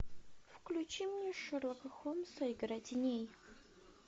включи мне шерлока холмса игра теней